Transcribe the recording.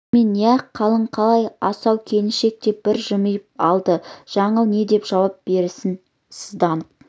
алдымен иә халің қалай асау келіншек деп бір жымиып алды жаңыл не деп жауап берсін сызданып